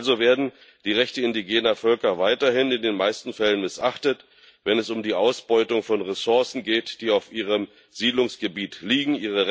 Also werden die Rechte indigener Völker weiterhin in den meisten Fällen missachtet, wenn es um die Ausbeutung von Ressourcen geht, die auf ihrem Siedlungsgebiet liegen.